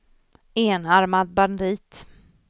enarmad bandit